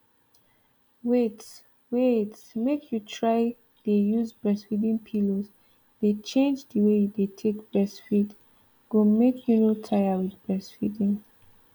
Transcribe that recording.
wait wait make you try dey use breastfeeding pillows dey change the way you dey take breastfeed go make you no tire with breastfeeding